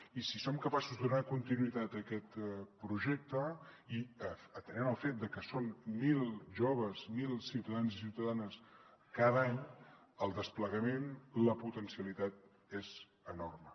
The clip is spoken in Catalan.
i si som capaços de donar continuïtat a aquest projecte i atenent al fet de que són mil joves mil ciutadans i ciutadanes cada any el desplegament la potencialitat és enorme